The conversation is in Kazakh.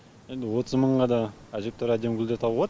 енді отыз мыңға да әжептеуір әдемі гүлдер табу болад